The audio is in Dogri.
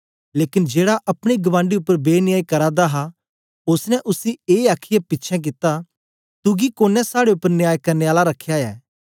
लेकन जेड़ा अपने गबांडी उपर बेन्यायी करा दा हा ओसने उसी ए आखीयै पिछें कित्ता तुगी कोने साड़े उपर न्याय करने आला रख्या ऐ